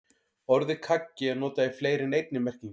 Orðið kaggi er notað í fleiri en einni merkingu.